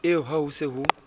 eo ha ho se ho